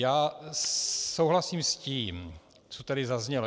Já souhlasím s tím, co tady zaznělo.